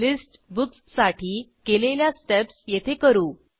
list books साठी केलेल्या steps येथे करू